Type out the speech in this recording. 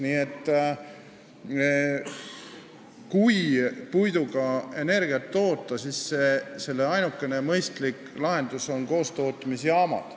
Nii et kui puiduga energiat toota, siis selle ainukene mõistlik lahendus on koostootmisjaamad.